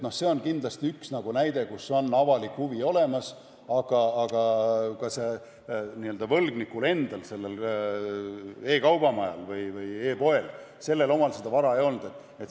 See on kindlasti üks näide, kus on avalik huvi olemas, aga ka sellel n-ö võlgnikul endal, e-kaubamajal või e-poel omal seda vara ei ole.